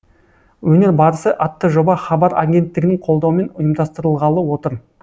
өнер барысы атты жоба хабар агенттігінің қолдауымен ұйымдастырылғалы отыр